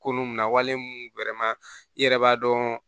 Kolon mun na wale mun i yɛrɛ b'a dɔn